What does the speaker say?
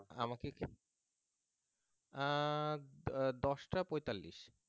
আমাকে এখানে আহ আহ দশটা পয়তাল্লিশ